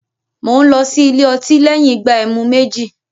Mò ń lọ sí ilé otí lẹ́yìn ìgbà ẹmu méjì